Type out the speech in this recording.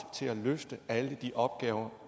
til at løfte alle de opgaver